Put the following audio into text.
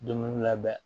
Dumuni labɛn